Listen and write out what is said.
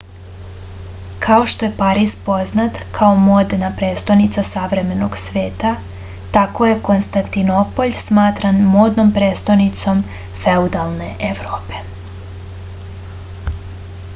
kao što je pariz poznat kao modna prestonica savremenog sveta tako je konstantinopolj smatran modnom prestonicom feudalne evrope